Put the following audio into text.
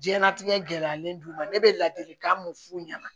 Diɲɛnlatigɛ gɛlɛyalen d'u ma ne bɛ ladilikan mun f'u ɲɛna